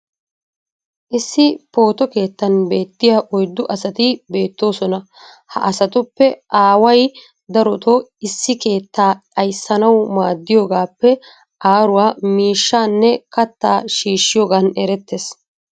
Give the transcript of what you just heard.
issi pooto keettan beettiya oyddu asati beettoosona. ha asatuppe aaway darotoo issi keettaa ayssanawu maadiyoogaappe aaruwaa miishshaanne kattaa shiishiyoogan erettees.